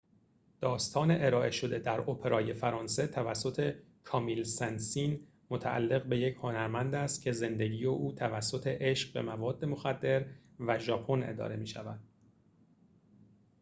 داستان ارائه شده در اپرای فرانسه توسط کامیل سن سین متعلق به یک هنرمند است که زندگی او توسط عشق به مواد مخدر و ژاپن اداره می شود